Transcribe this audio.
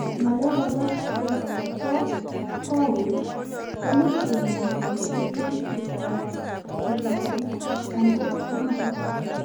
Ngaleek alaak chepoo kowek komuuch kinyaa kebaisiie tuguk chetaguu ,angot notok